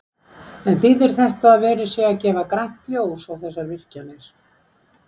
En þýðir þetta að verið sé að gefa grænt ljós á þessar virkjanir?